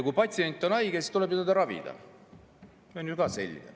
Kui patsient on haige, siis tuleb teda ravida, see on selge.